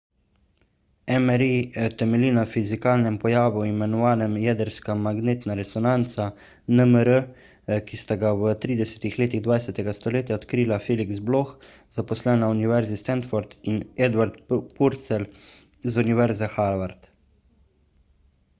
mri temelji na fizikalnem pojavu imenovanem jedrska magnetna resonanca nmr ki sta ga v 30. letih 20. stoletja odkrila felix bloch zaposlen na univerzi stanford in edward purcell z univerze harvard